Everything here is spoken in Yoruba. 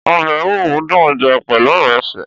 Ọ̀bẹ ẹ̀wúro dun jẹ pelu ìrẹsi